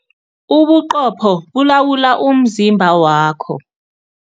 Ubuqopho bulawula umzimba wakho.